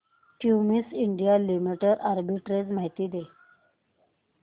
Cummins India limited arbitrage माहिती दे